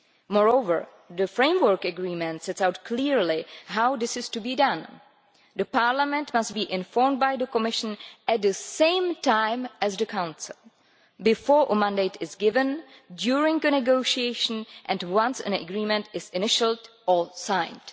Moreover, the framework agreement sets out clearly how this is to be done Parliament must be informed by the Commission at the same time as the Council, before a mandate is given, during the negotiation and once an agreement is initialled or signed.